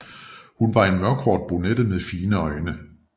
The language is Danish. Hun var en mørkhåret brunette med fine øjne